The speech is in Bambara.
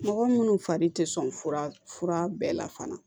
Mɔgɔ munnu fari tɛ sɔn fura bɛɛ la fana